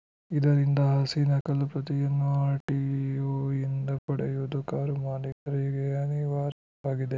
ಇದರಿಂದ ಆರ್‌ಸಿ ನಕಲು ಪ್ರತಿಯನ್ನು ಆರ್‌ಟಿಒಯಿಂದ ಪಡೆಯುವುದು ಕಾರು ಮಾಲಿಕರಿಗೆ ಅನಿವಾರ್ಯವಾಗಿದೆ